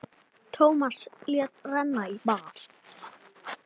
Tómas lét renna í bað.